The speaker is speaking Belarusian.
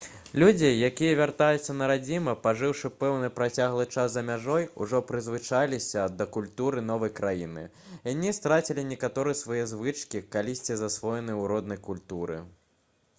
людзі якія вяртаюцца на радзіму пажыўшы пэўны працяглы час за мяжой ужо прызвычаіліся да культуры новай краіны яны страцілі некаторыя свае звычкі калісьці засвоеныя ў роднай культуры